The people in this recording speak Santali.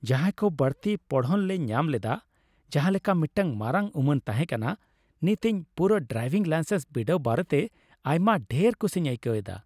ᱡᱟᱦᱟᱸᱭ ᱠᱚ ᱵᱟᱹᱲᱛᱤ ᱯᱚᱲᱦᱚᱱᱞᱮ ᱧᱟᱢ ᱞᱮᱫᱟ ᱡᱟᱦᱟᱸ ᱞᱮᱠᱟ ᱢᱤᱫᱴᱟᱝ ᱢᱟᱨᱟᱝ ᱩᱢᱟᱹᱱ ᱛᱟᱦᱮᱸ ᱠᱟᱱᱟ ! ᱱᱤᱛ ᱤᱧ ᱯᱩᱨᱟᱹ ᱰᱨᱟᱭᱵᱷᱤᱝ ᱞᱟᱭᱥᱮᱱᱥ ᱵᱤᱰᱟᱹᱣ ᱵᱟᱨᱮᱛᱮ ᱟᱭᱢᱟ ᱰᱷᱮᱨ ᱠᱩᱥᱤᱧ ᱟᱹᱭᱠᱟᱹᱣ ᱮᱫᱟ ᱾